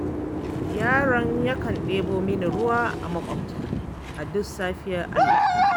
Yaron yakan ɗebo mini ruwa a maƙota a duk safiyar Allah.